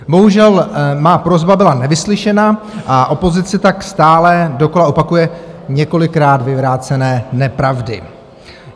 Bohužel má prosba byla nevyslyšena a opozice tak stále dokola opakuje několikrát vyvrácené nepravdy.